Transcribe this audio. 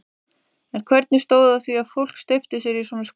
En hvernig stóð á því að fólk steypti sér í svona skuldir?